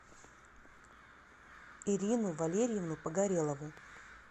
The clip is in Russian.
ирину валерьевну погорелову